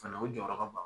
Fana o jɔyɔrɔ ka bon